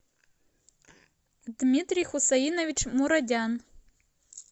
дмитрий хусаинович мурадян